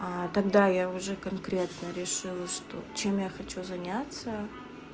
тогда я уже конкретно решила что чем я хочу заняться